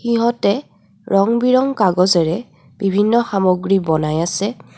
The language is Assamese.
সিহঁতে ৰঙ বিৰঙ কাগজেৰে বিভিন্ন সামগ্ৰী বনাই আছে.